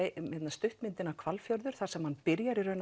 stuttmyndina Hvalfjörður þar sem hann byrjar